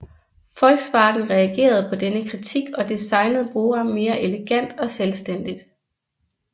Volkswagen reagerede på denne kritik og designede Bora mere elegant og selvstændigt